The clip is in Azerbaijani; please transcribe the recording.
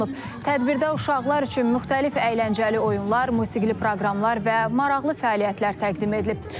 Tədbirdə uşaqlar üçün müxtəlif əyləncəli oyunlar, musiqili proqramlar və maraqlı fəaliyyətlər təqdim edilib.